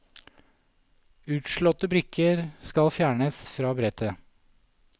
Utslåtte brikker skal fjernes fra brettet.